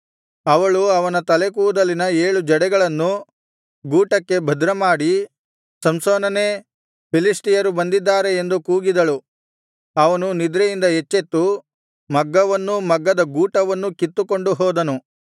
ಅವಳು ಅವನ ತಲೆಕೂದಲಿನ ಏಳು ಜಡೆಗಳನ್ನು ಗೂಟಕ್ಕೆ ಭದ್ರಮಾಡಿ ಸಂಸೋನನೇ ಫಿಲಿಷ್ಟಿಯರು ಬಂದಿದ್ದಾರೆ ಎಂದು ಕೂಗಿದಳು ಅವನು ನಿದ್ರೆಯಿಂದ ಎಚ್ಚೆತ್ತು ಮಗ್ಗವನ್ನೂ ಮಗ್ಗದ ಗೂಟವನ್ನೂ ಕಿತ್ತುಕೊಂಡು ಹೋದನು